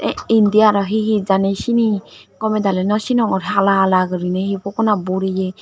indi aro he he jani sene gomadala no senogor hala hala guri he pogonat boreya.